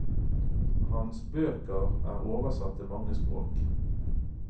Hans bøker er oversatt til mange språk.